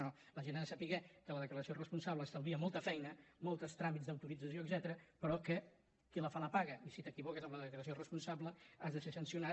no no la gent ha de saber que la declaració responsable estalvia molta feina molts tràmits d’autorització etcètera però que qui la fa la paga i si t’equivoques amb la declaració responsable has de ser sancionat